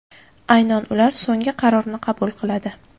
Aynan ular so‘nggi qarorni qabul qiladi.